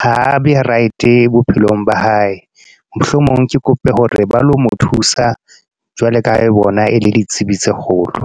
ha be right bophelong ba hae. Mohlomong ke kope hore ba lo mo thusa. Jwale ka bona e le ditsibi tse kgolo.